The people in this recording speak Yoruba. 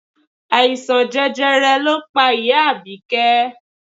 Àìsàn jẹjẹrẹ ló pa ìyá Abike